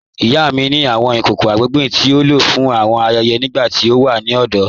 Ìyá mi ni awọn ikòkò agbègbè tí o ló fún awọn ayẹyẹ nígbà tí a wà ni ọdọ.